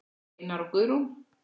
Einar og Guðrún.